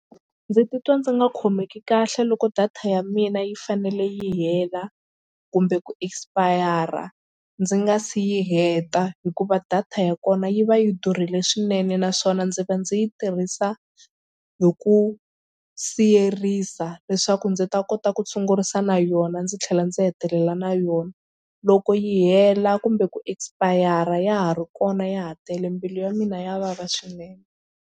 Ndzi titwa ndzi nga khomeki kahle loko data ya mina yi fanele yi hela kumbe ku expire ndzi nga si yi heta hikuva data ya kona yi va yi durhile swinene naswona ndzi va ndzi yi tirhisa hi ku siyerisa leswaku ndzi ta kota ku sungurisa na yona ndzi tlhela ndzi hetelela na yona. Loko yi hela kumbe ku expire ya ha ri kona ya ha tele mbilu ya mina yi vava swinene.